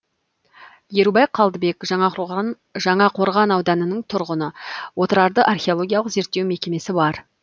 ерубай қалдыбек жаңақорған ауданының тұрғыны отырарды археологиялық зерттеу мекемесі бар